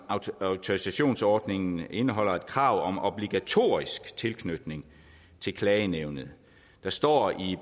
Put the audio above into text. autorisationsordningen indeholder et krav om obligatorisk tilknytning til klagenævnet der står i